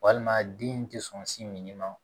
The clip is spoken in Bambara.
Walima den tɛ sɔn sin min ma